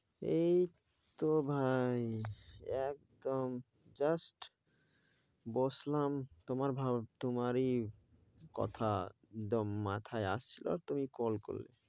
এই তো ভাই, একদম just বসলাম তোমার ভা~ তোমারই কথা একদম মাথায় আসছিল তুমি call করলে।